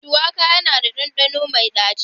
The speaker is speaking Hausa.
Shuwaka yana da ɗanɗano mai ɗaci.